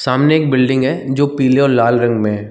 सामने एक बिल्डिंग है जो पीले और लाल रंग में है।